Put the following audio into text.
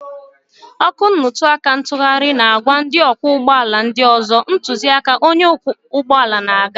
Ọkụ nnutuaka ntughari na-agwa ndị ọkwọ ụgbọ ala ndị ọzọ, ntụziaka onye ọkwọ ụgbọ ala na-aga.